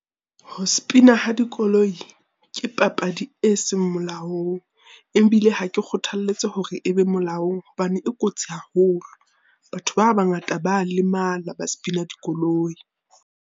Ho sepina ha dikoloi ke papadi e seng molaong. Ebile ha ke kgothalletse hore e be molaong hobane e kotsi haholo. Batho ba bangata ba a lemala ba sepinang dikoloi.